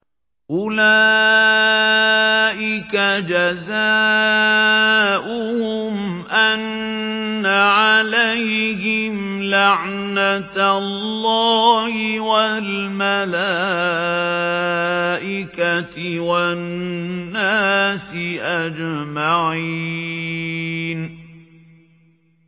أُولَٰئِكَ جَزَاؤُهُمْ أَنَّ عَلَيْهِمْ لَعْنَةَ اللَّهِ وَالْمَلَائِكَةِ وَالنَّاسِ أَجْمَعِينَ